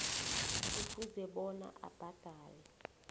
kufuze bona abhadale